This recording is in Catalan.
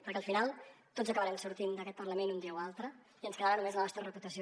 perquè al final tots acabarem sortint d’aquest parlament un dia o altre i ens quedarà només la nostra reputació